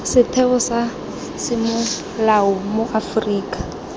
setheo sa semolao mo aforika